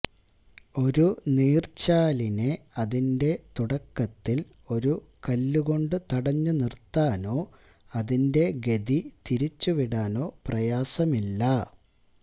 ഒരു നീര്ച്ചാലിനെ അതിന്റെ തുടക്കത്തില് ഒരു കല്ലുകൊണ്ട് തടഞ്ഞുനിര്ത്താനോ അതിന്റെ ഗതി തിരിച്ചുവിടാനോ പ്രയാസമില്ല